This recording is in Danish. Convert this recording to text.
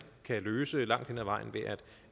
kan løse langt hen ad vejen ved